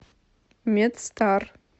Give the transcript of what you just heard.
медстар